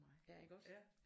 Ja ikke også?